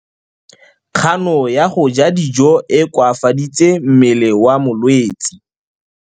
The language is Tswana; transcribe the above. Kganô ya go ja dijo e koafaditse mmele wa molwetse.